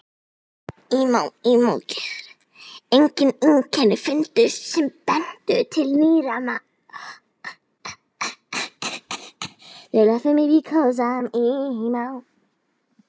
Engin einkenni fundust sem bentu til nýrnaveiki eða annars sjúkdóms.